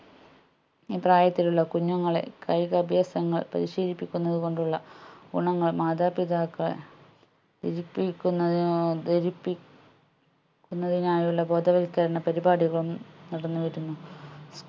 ഈ പ്രായത്തിലുള്ള കുഞ്ഞുങ്ങളെ കായികാഭ്യാസങ്ങൾ പരിശീലിപ്പിക്കുന്നത് കൊണ്ടുള്ള ഗുണങ്ങൾ മാതാപിതാക്കളെ ധരിപ്പിക്കുന്നതിനോ ധരിപ്പി ക്കുന്നതിനായുള്ള ബോധവൽക്കരണ പരിപാടികളും നടന്നു വരുന്നു